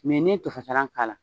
Ni n' ye tofasalan k'ala.